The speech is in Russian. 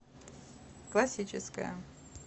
классическая